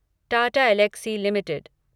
Tata Elxsi limited